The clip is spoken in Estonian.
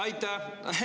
Aitäh!